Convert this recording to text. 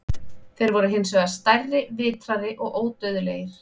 Þeir voru hins vegar stærri, vitrari og ódauðlegir.